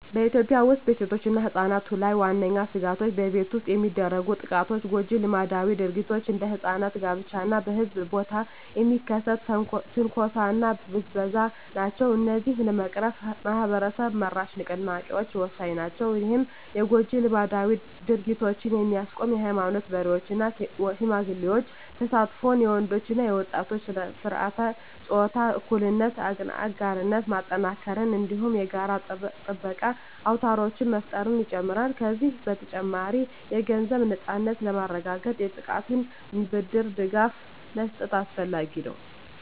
በኢትዮጵያ ውስጥ በሴቶችና ሕጻናት ላይ ዋነኛ ስጋቶች በቤት ውስጥ የሚደርሱ ጥቃቶች፣ ጎጂ ልማዳዊ ድርጊቶች (እንደ ሕጻናት ጋብቻ) እና በሕዝብ ቦታ የሚከሰት ትንኮሳና ብዝበዛ ናቸው። እነዚህን ለመቅረፍ ማኅበረሰብ-መራሽ ንቅናቄዎች ወሳኝ ናቸው። ይህም የጎጂ ልማዳዊ ድርጊቶችን የሚያስቆም የኃይማኖት መሪዎች እና ሽማግሌዎች ተሳትፎን፣ የወንዶች እና ወጣቶች በሥርዓተ-ፆታ እኩልነት አጋርነት ማጠናከርን፣ እንዲሁም የጋራ ጥበቃ አውታሮችን መፍጠርን ይጨምራል። ከዚህ በተጨማሪ፣ የገንዘብ ነፃነትን ለማረጋገጥ የጥቃቅን ብድር ድጋፍ መስጠት አስፈላጊ ነው።